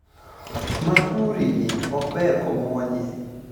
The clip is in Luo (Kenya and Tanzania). Makuri ni ok ber komwonye